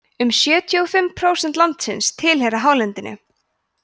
um sjötíu og fimm prósent landsins tilheyra hálendinu